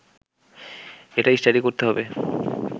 এটা স্টাডি করতে হবে